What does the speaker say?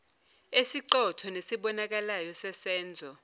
esiqotho nesibonakalayo sesenzo